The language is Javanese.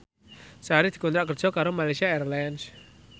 Sari dikontrak kerja karo Malaysia Airlines